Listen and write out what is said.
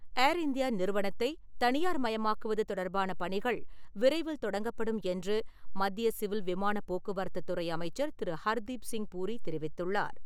ஏர் India நிறுவனத்தை தனியார் மயமாக்குவது தொடர்பான பணிகள் விரைவில் தொடங்கப்படும் என்று, மத்திய சிவில் விமான போக்குவரத்துத் துறை அமைச்சர் திரு. ஹர்தீப்சிங் பூரி தெரிவித்துள்ளார்.